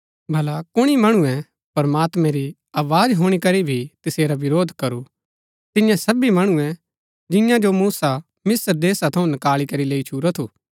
भला कुणी मणुऐ प्रमात्मैं री आवाज हुणी करी भी तसेरा विरोध करू तिऐं सबी मणुऐ जिआं जो मूसा मिस्र देशा थऊँ नकाळी करी लैई छूरा थू